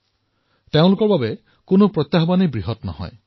তেওঁলোকৰ বাবে কোনো প্ৰত্যাহ্বানেই বৃহৎ নহয়